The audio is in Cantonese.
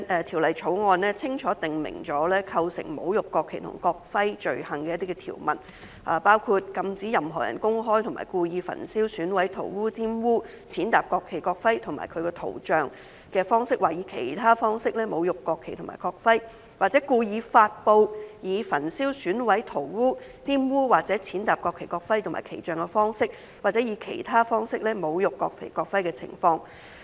《條例草案》清楚訂明構成侮辱國旗及國徽罪行的相關條文，包括禁止任何人公開及故意以焚燒、毀損、塗劃、玷污、踐踏國旗、國徽或其圖像的方式或以其他方式侮辱國旗或國徽；或故意發布以焚燒、毀損、塗劃、玷污或踐踏國旗、國徽或其圖像的方式或以其他方式侮辱國旗或國徽的情況。